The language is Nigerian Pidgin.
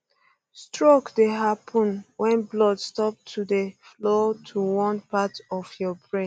stroke dey happun wen blood stop to dey um flow to one part of your brain